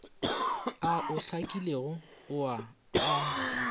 ao a hlakilego ao a